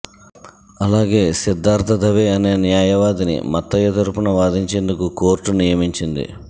అలాగే సిద్ధార్ధ దవే అనే న్యాయవాదిని మత్తయ తరుపున వాదించేందుకు కోర్టు నియమించింది